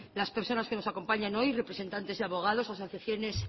las personas que nos acompañan hoy representantes y abogados asociaciones